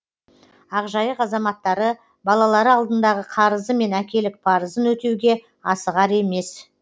ақжайық азаматтары балалары алдындағы қарызы мен әкелік парызын өтеуге асығар емес